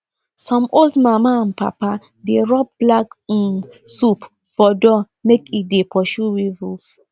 some old mama and papa dey rub black um soup for door make e dey pursue weevils